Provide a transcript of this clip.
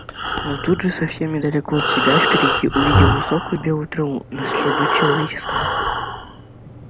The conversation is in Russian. но тут же совсем недалеко от себя впереди увидел высокую белую траву на следу человеческом